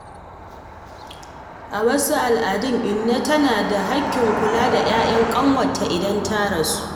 A wasu al’adu, inna tana da haƙƙin kula da ‘ya’yan ƙanwarta idan ta rasu.